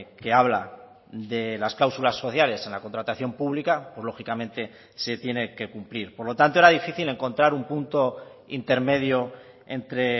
que habla de las cláusulas sociales en la contratación pública pues lógicamente se tiene que cumplir por lo tanto era difícil encontrar un punto intermedio entre